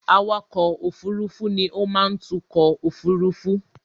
Awakọ̀ òfurufú ni ó má ń tukọ̀ òfurufú.